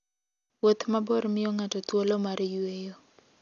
Wuoth mabor miyo ng'ato thuolo mar yueyo.